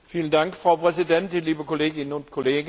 Frau Präsidentin, liebe Kolleginnen und Kollegen!